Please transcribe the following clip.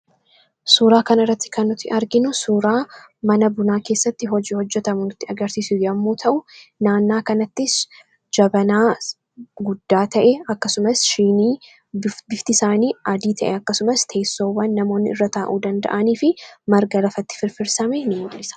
Suuraa kana irratti kan nuti arginu suuraa mana bunaa keessatti hojii hojjetamu nutti agarsiisu yommuu ta'u, naannaa kanattis jabanaa guddaa ta'e, akkasumas shiinii bifti isaanii adii ta'e, akkasumas teessoowwan namoonni irra taa'uu danda'anii fi marga lafatti firfirsame ni mul'isa.